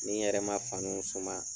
Ni yɛrɛ ma fanuw suma